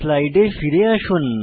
স্লাইডে ফিরে আসুন